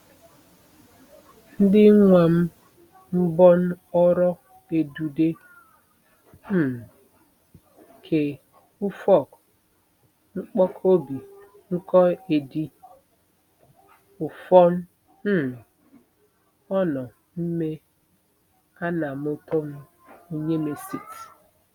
Ndin̄wam mbon oro ẹdude um ke ufọk-n̄kpọkọbi n̄ko edi ufọn um ọnọ mme anamutom unyịmesịt.